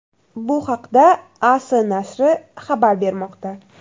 Bu haqda AS nashri xabar bermoqda .